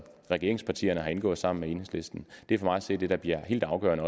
regeringspartierne har indgået sammen med enhedslisten det er for mig at se det der bliver helt afgørende